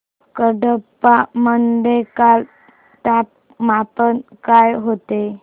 कडप्पा मध्ये काल तापमान काय होते